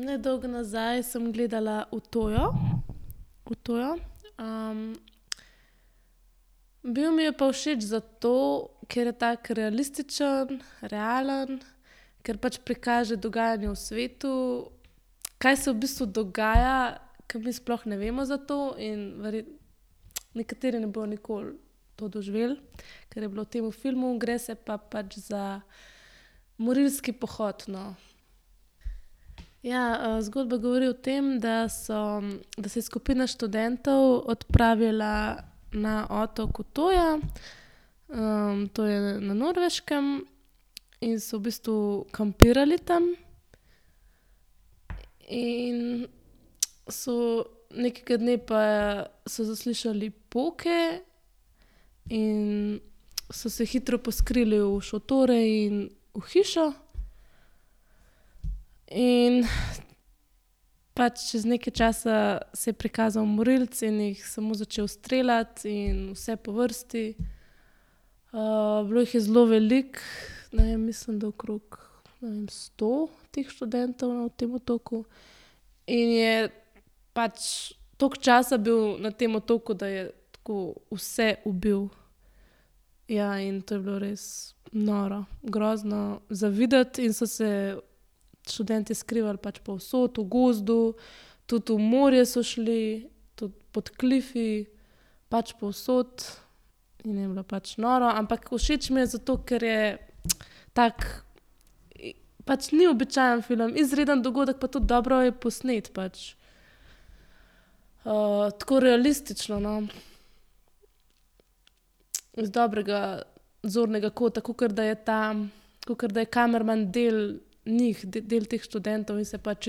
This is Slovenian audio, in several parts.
Nedolgo nazaj sem gledala Utøyo, Utøyo. bil mi je pa všeč zato, ker je tako realističen, realen, ker pač prikaže dogajanje v svetu, kaj se v bistvu dogaja, ke mi sploh ne vemo za to in nekateri ne bojo nikoli to doživeli, kar je bilo v tem filmu. Gre se pa pač za morilski pohod, no. Ja, zgodba govori o tem, da so, da se je skupina študentov odpravila na otok Utøya. to je na Norveškem, in so v bistvu kampirali tam. In so nekega dne pa so zaslišali poke in so se hitro poskrili v šotore in v hišo. In pač čez nekaj časa se je prikazal morilec in jih samo začel streljati in vse po vrsti. bilo jih je zelo veliko. Ne vem, mislim, da okrog, ne vem, sto teh študentov na tem otoku. In je pač toliko časa bil na tem otoku, da je tako, vse ubil. Ja, in to je bilo res noro. Grozno za videti in so se študentje skrivali pač povsod. V gozdu, tudi v morje so šli, tudi pod klifi. Pač povsod. In je bilo pač noro. Ampak všeč mi je zato, ker je tak, pač ni običajen film. Izreden dogodek, pa tudi dobro je posneti pač. tako realistično, no. Iz dobrega zornega kota. Kakor da je ta, kakor da je kamerman del njih, del teh študentov, in se pač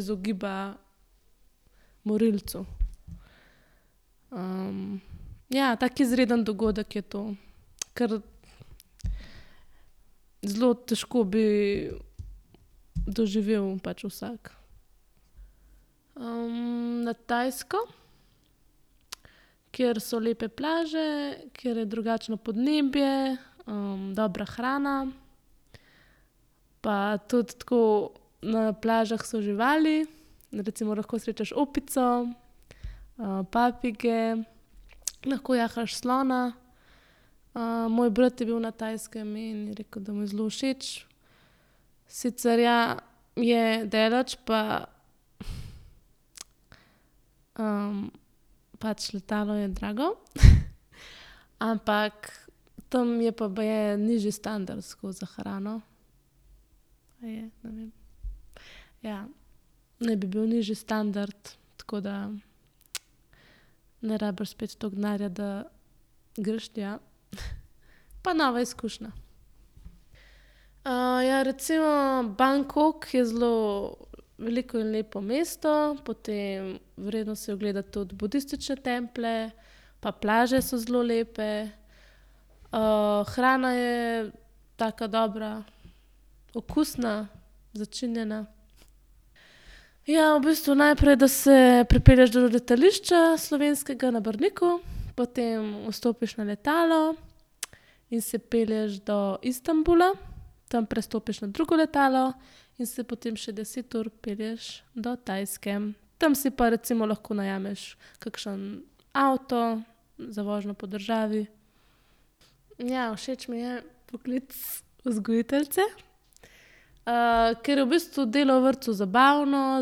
izogiba morilcu. ja, tako izreden dogodek je to. Ker zelo težko bi doživel pač vsak. na Tajsko, kjer so lepe plaže, kjer je drugačno podnebje, dobra hrana. Pa tudi tako na plažah so živali. Recimo, lahko srečaš opico, papige, lahko jahaš slona. moj brat je bil na Tajskem in je rekel, da mu je zelo všeč. Sicer ja, je daleč pa, pač letalo je drago, ampak tam je pa baje nižji standard tako, za hrano. A je? Ne vem. Ja. Naj bi bil nižji standard, tako da ne rabiš spet toliko denarja, da greš tja. Pa nova izkušnja. ja recimo Bangkok je zelo veliko in lepo mesto, potem vredno si je ogledati tudi budistične templje, pa plaže so zelo lepe. hrana je taka dobra, okusna, začinjena. Ja, v bistvu najprej, da se pripelješ do letališča slovenskega, na Brniku. Potem vstopiš na letalo in se pelješ do Istanbula. Tam prestopiš na drugo letalo in se potem še deset ur pelješ do Tajske. Tam si pa recimo lahko najameš kakšen avto za vožnjo po državi. Ja, všeč mi je poklic vzgojiteljice, ker je v bistvu delo v vrtcu zabavno,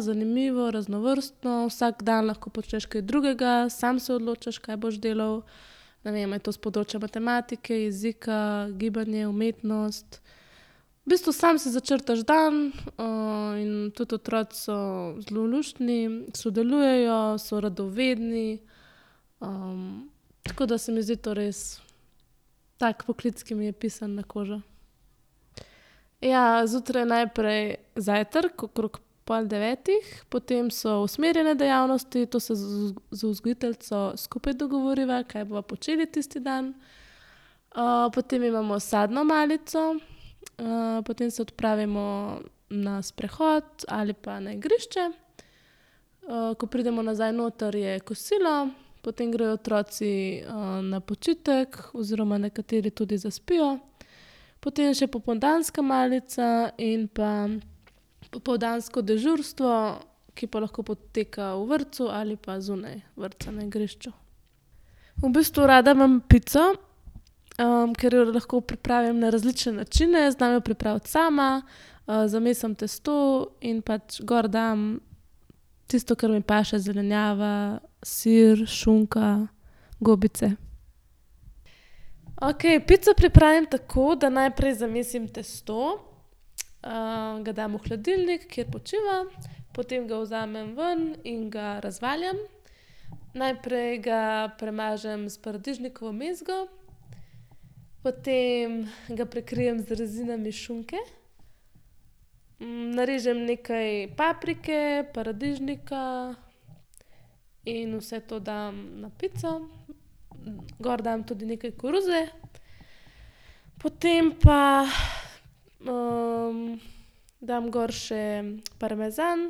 zanimivo, raznovrstno, vsak dan lahko počneš kaj drugega, samo se odločiš, kaj boš delal. Ne vem, je to s področja matematike, jezika, gibanje, umetnost. V bistvu samo si začrtaš dan, in tudi otroci so zelo luštni, sodelujejo, so radovedni. tako da se mi zdi to res tak poklic, ki mi je pisan na kožo. Ja, zjutraj najprej zajtrk, okrog pol devetih, potem so usmerjene dejavnosti, to se z vzgojiteljico skupaj dogovoriva, kaj bova počeli tisti dan. potem imamo sadno malico, ,potem se odpravimo na sprehod ali pa na igrišče. ko pridemo nazaj noter, je kosilo, potem grejo otroci, na počitek oziroma nekateri tudi zaspijo. Potem še popoldanska malica in pa popoldansko dežurstvo, ki pa lahko poteka v vrtcu ali pa zunaj vrtca, na igrišču. V bistvu rada imam pico, ker jo lahko pripravim na različne načine. Znam jo pripraviti sama. zamesim testo in pač gor dam tisto, kar mi paše. Zelenjava, sir, šunka, gobice. Okej, pico pripravim tako, da najprej zamesim tisto, ga dam v hladilnik, kjer počiva. Potem ga vzamem ven in ga razvaljam. Najprej ga premažem s paradižnikovo mezgo, potem ga prekrijem z rezinami šunke, narežem nekaj paprike, paradižnika, in vse to dam na pico. Gor dam tudi nekaj koruze. Potem pa, dam gor še parmezan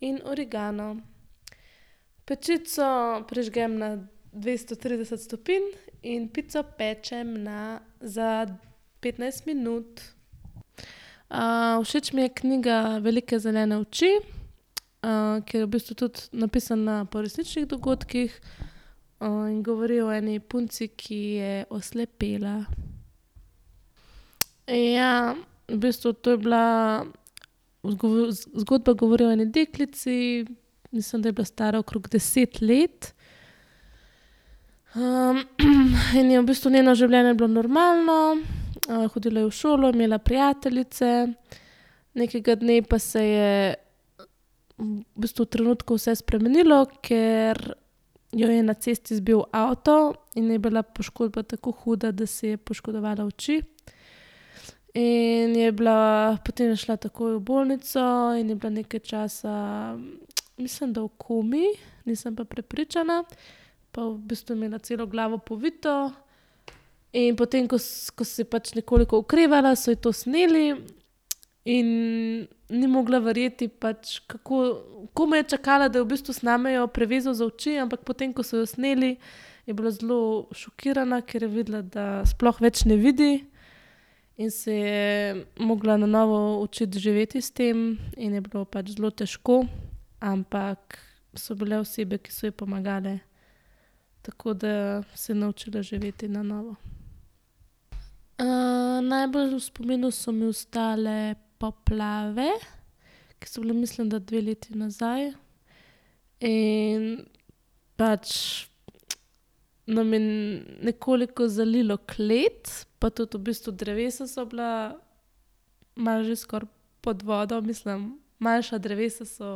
in origano. Pečico prižgem na dvesto trideset stopinj in pico pečem na, za petnajst minut. všeč mi je knjiga Velike zelene oči, ker je v bistvu tudi napisana po resničnih dogodkih. in govori o eni punci, ki je oslepela. Ja. V bistvu to je bila zgodba govori o eni deklici, mislim, da je bila stara okrog deset let. in je v bistvu njeno življenje bilo normalno. hodila je v šolo, imela je prijateljice. Nekega dne pa se je v bistvu v trenutku vse spremenilo, ker jo je na cesti zbil avto in je bila poškodba tako huda, da si je poškodovala oči. In je bila, potem je šla takoj v bolnico in je bila nekaj časa, mislim, da v komaj, nisem pa prepričana. Pa v bistvu je imela celo glavo povito. In potem, ko ko se je pač nekoliko okrevala, so ji to sneli, in ni mogla vrjeti pač, kako ... Komaj je čakala, da je v bistvu snamejo prevezo z oči, ampak potem, ko so jo sneli, je bila zelo šokirana, ker je videla, da sploh več ne vidi. In se je mogla na novo učiti živeti s tem in je bilo pač zelo težko. Ampak so bile osebe, ki so ji pomagale. Tako da se je naučila živeti na novo. najbolj v spominu so mi ostale poplave, ki so bile, mislim, da dve leti nazaj in pač nam je nekoliko zalilo klet. Pa tudi v bistvu drevesa so bila malo že skoraj pod vodo. Mislim, manjša drevesa so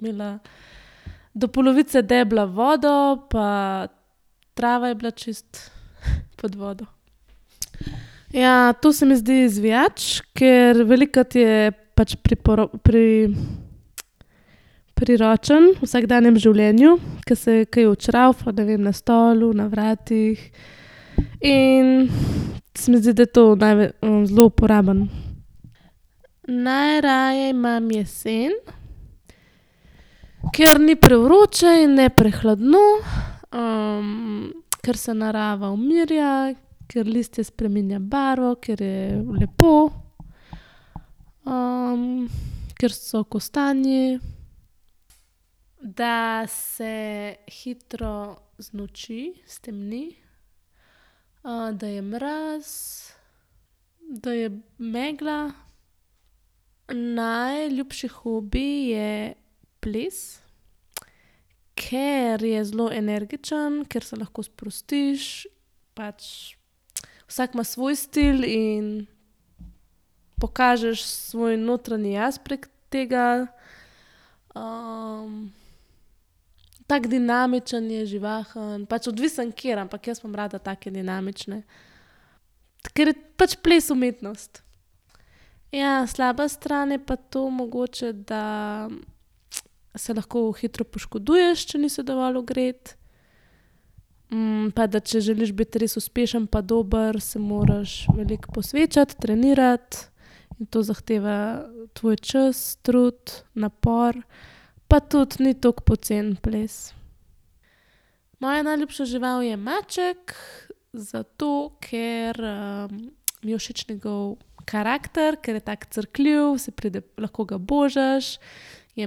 imela do polovice debla vodo pa trava je bila čisto pod vodo. Ja, to se mi zdi izvijač, ker velikokrat je pač priročen v vsakdanjem življenju, ke se kaj odšravfa, ne vem, na stolu, na vratih. In se mi zdi, da je to zelo uporaben. Najraje imam jesen, ker ni prevroče in ne prehladno, ker se narava umirja, ker listje spreminja barvo, ker je lepo. ker so kostanji. Da se hitro znoči, stemni, da je mraz, da je megla. Najljubši hobi je ples, ker je zelo energičen, ker se lahko sprostiš. Pač vsak ima svoj stil in pokažeš svoj notranji jaz prek tega. tako dinamičen je, živahen. Pač odvisno, ker, ampak jaz imam rada take dinamične. Ker je pač ples umetnost. Ja, slaba stran je pa to mogoče, da se lahko hitro poškoduješ, če nisi dovolj ogret, pa da če želiš biti res uspešen pa dober, se moraš veliko posvečati, trenirati, in to zahteva tvoj čas, trud, napor. Pa tudi ni toliko poceni ples. Moja najljubša žival je maček. Zato, ker, mi je všeč njegov karakter, ker je tako crkljiv, se pride, lahko ga božaš, je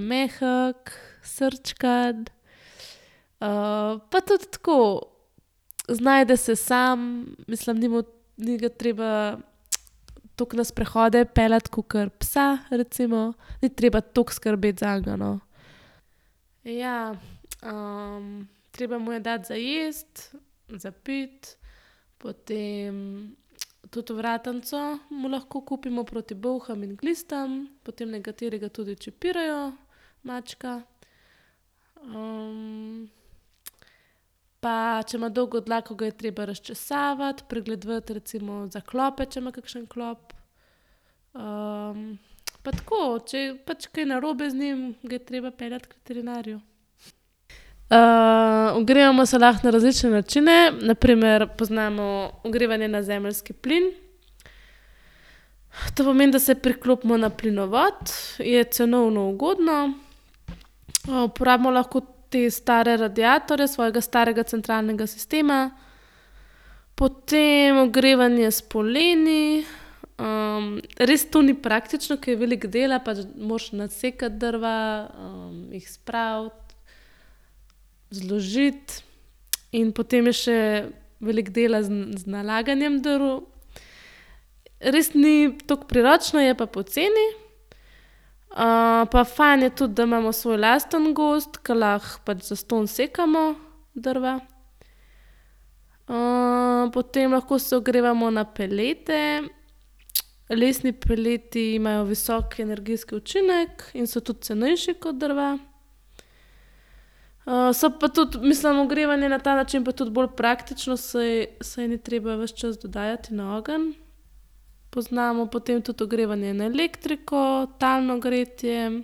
mehek, srčkan, pa tudi tako, znajde se samo, mislim, ni mu, ni ga treba toliko na sprehode peljati kakor psa recimo. Ni treba toliko skrbeti zanj, no. Ja. treba mu je dati za jesti, za piti, potem tudi ovratnico mu lahko kupimo proti bolham in glistam. Potem nekateri ga tudi čipirajo, mačka. pa če ima dolgo dlako, ga je treba razčesavati, pregledovati recimo za klope, če ima kakšnega klopa. pa tako, če je pač kaj narobe z njim, ga je treba peljati k veterinarju. ogrevamo se lahko na različne načine. Na primer, poznamo ogrevanje na zemeljski plin. To pomeni, da se priklopimo na plinovod, je cenovno ugodno, uporabimo lahko te stare radiatorje svojega starega centralnega sistema. Potem ogrevanje s poleni, res to ni praktično, ker je veliko dela pa tudi moraš nasekati drva, jih spraviti, zložiti. In potem je še veliko dela z z nalaganjem drv. Res ni toliko priročno, je pa poceni. pa fajn je tudi, da imamo svoj lastni gozd, ker lahko pač zastonj sekamo drva. potem lahko se ogrevamo na pelete. Lesni peleti imajo visok energijski učinek in so tudi cenejši kot drva. so pa tudi, mislim, ogrevanje na ta način je pa tudi bolj praktično, saj, saj ni treba ves čas dodajati na ogenj. Poznamo potem tudi ogrevanje na elektriko, talno gretje.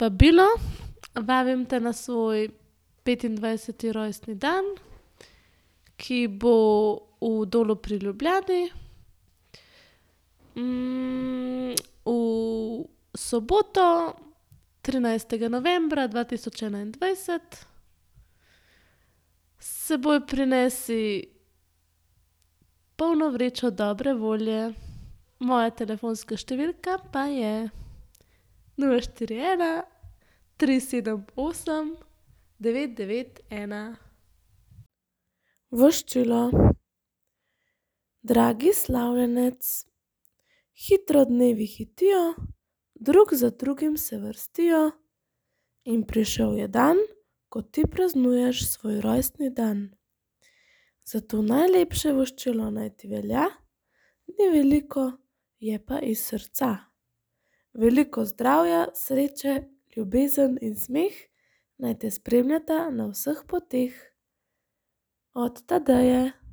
vabilo. Vabim te na svoj petindvajseti rojstni dan, ki bo v Dolu pri Ljubljani, v soboto, trinajstega novembra dva tisoč enaindvajset. S seboj prinesi polno vrečo dobre volje. Moja telefonska številka pa je: nula, štiri, ena, tri, sedem, osem, devet, devet, ena. Voščilo. Dragi slavljenec. Hitro dnevi hitijo, drug za drugim se vrstijo, in prišel je dan, ko ti praznuješ svoj rojstni dan. Zato najlepše voščilo naj ti velja. Ni veliko, je pa iz srca. Veliko zdravja, sreče, ljubezen in smeh naj te spremljata na vseh poteh. Od Tadeje.